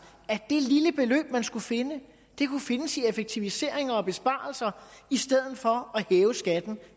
at det lille beløb man skulle finde kunne findes ved hjælp af effektiviseringer og besparelser i stedet for at hæve skatten